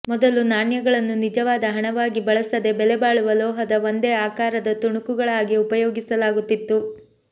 ಮೊದಲು ನಾಣ್ಯಗಳನ್ನು ನಿಜವಾದ ಹಣವಾಗಿ ಬಳಸದೆ ಬೆಲೆಬಾಳುವ ಲೋಹದ ಒಂದೇ ಆಕಾರದ ತುಣುಕುಗಳಾಗಿ ಉಪಯೋಗಿಸಲಾಗುತ್ತಿತ್ತು